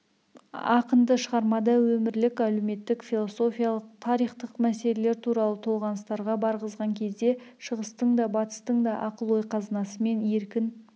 ақынды шығармада өмірлік-әлеуметтік философиялық тарихтық мәселелер туралы толғаныстарға барғызған кезде шығыстың да батыстың да ақыл-ой қазынасымен еркін